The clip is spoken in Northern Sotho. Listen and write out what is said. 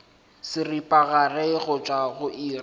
seripagare go tšwa go iri